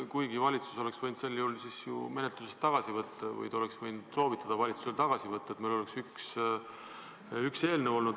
Kuigi valitsus oleks võinud sel juhul oma eelnõu menetlusest tagasi võtta või te oleksite võinud soovitada valitsusel see tagasi võtta, nii et meil oleks olnud üks eelnõu.